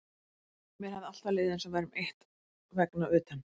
Mér hafði alltaf liðið eins og við værum eitt vegna utan